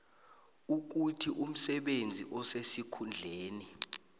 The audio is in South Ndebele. ukuthi umsebenzi osesikhundleni